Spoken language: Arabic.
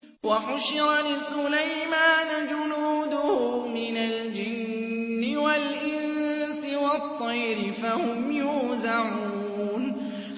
وَحُشِرَ لِسُلَيْمَانَ جُنُودُهُ مِنَ الْجِنِّ وَالْإِنسِ وَالطَّيْرِ فَهُمْ يُوزَعُونَ